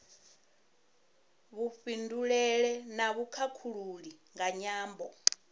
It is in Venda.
vhufhinduleli na vhukhakhulili nga nyambo